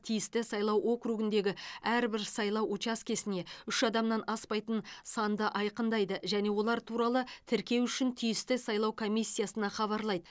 тиісті сайлау округіндегі әрбір сайлау учаскесіне үш адамнан аспайтын санда айқындайды және олар туралы тіркеу үшін тиісті сайлау комиссиясына хабарлайды